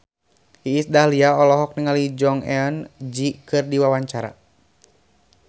Iis Dahlia olohok ningali Jong Eun Ji keur diwawancara